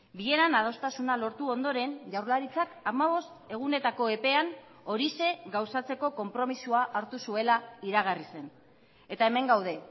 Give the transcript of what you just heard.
bileran adostasuna lortu ondoren jaurlaritzak hamabost egunetako epean horixe gauzatzeko konpromisoa hartu zuela iragarri zen eta hemen gaude